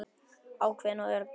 Ákveðin og örugg með sig.